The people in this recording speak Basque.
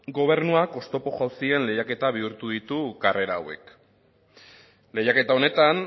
gobernuak oztopo jauzien lehiaketa bihurtu ditu karrera hauek lehiaketa honetan